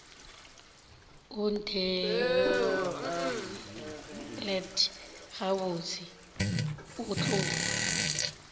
o ntheelet gabotse o tlo